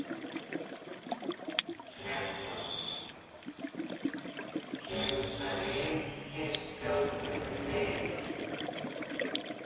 Fréttamaður: Kemur það ríkisstjórninni við?